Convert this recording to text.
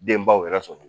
Denbaw yɛrɛ sɔrɔ